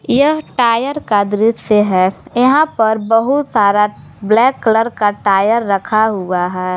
यह टायर का दृश्य है यहां पर बहुत सारा ब्लैक कलर का टायर रखा हुआ है।